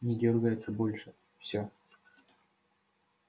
не дёргается больше всё